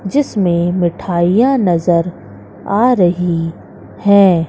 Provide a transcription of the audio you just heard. जिसमें मिठाइयां नजर आ रही है।